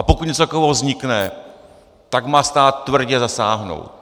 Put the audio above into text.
A pokud něco takového vznikne, tak má stát tvrdě zasáhnout.